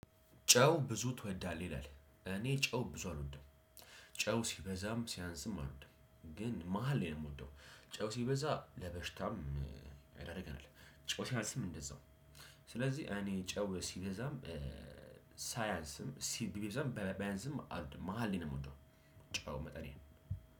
ጨው? ብዙ ትወዳለህ ይላል እኔ ጨው ብዙ አልወድም። ጨው ሲበዛም ሲያንስም አልወድም ግን መሃል ላይ ነው የምወደው። ጨው ሲበዛ ለበሽታም ይዳርጋል። ጨው ሲያንስም እንደዛው። ስለዚህ እኔ ጨው ሲበዛም ሳይንስም ሲበዛም በመሃል ነው የምወደው። ጨው መጠኔ ነው።